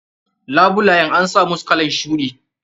Labulayen an samusu kalan shuɗi.